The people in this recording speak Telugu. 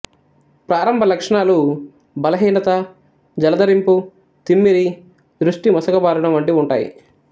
ప్రారంభ లక్షణాలు బలహీనత జలదరింపు తిమ్మిరి దృష్టి మసకబారడం వంటివి ఉంటాయి